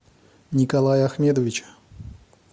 николая ахмедовича